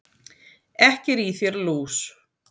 Ekki er í þér lús,